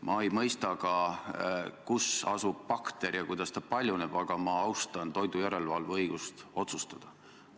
Ma ei mõista ka, kus asub bakter ja kuidas ta paljuneb, aga ma austan toidujärelevalve õigust otsustada.